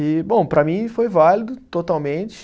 E, bom, para mim foi válido, totalmente.